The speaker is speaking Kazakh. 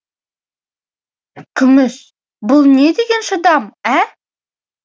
күміс бұл не деген шыдам ә